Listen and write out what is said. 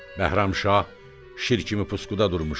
Bəhramşah şir kimi pusuqda durmuşdu.